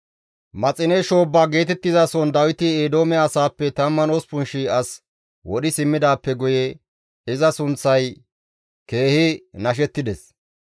Maxine shoobba geetettizason Dawiti Eedoome asaappe 18,000 as wodhi simmidaappe guye iza sunththay keehi nashettides.